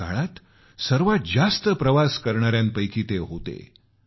आपल्या काळातले सर्वात जास्त प्रवास करणाऱ्यांपैकी ते होते